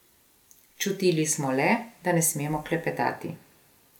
Čutili smo le, da ne smemo klepetati.